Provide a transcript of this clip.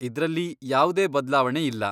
ಇದ್ರಲ್ಲಿ ಯಾವ್ದೇ ಬದ್ಲಾವಣೆ ಇಲ್ಲ.